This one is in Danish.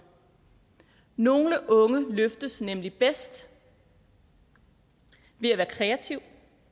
nogle unge løftes nemlig bedst ved at være kreative